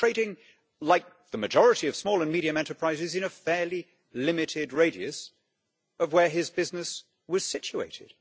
He was trading like the majority of small and medium enterprises in a fairly limited radius of where his business was situated.